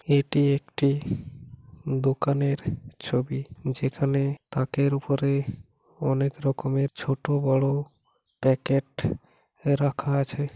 এটি একটি দোকানের ছবি যেখানে তাকের উপরে অনেক রকমের ছোট বড় প্যাকেট রাখা আছে।